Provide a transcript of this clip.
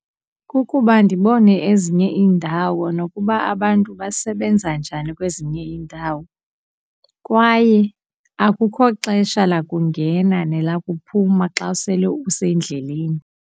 Kukuba ndibone ezinye iindawo nokuba abantu basebenza njani kwezinye iindawo. Kwaye akukho xesha lakungena nelakuphuma xa usele usendleleni.